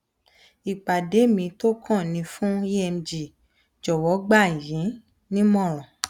ìpàdé mi tó kàn ni fún emg jọwọ gbà yín nímọràn